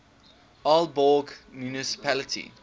aalborg municipality